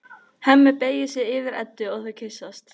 Hemmi beygir sig yfir Eddu og þau kyssast.